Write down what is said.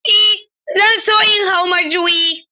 Eh zan so in hau majuyi.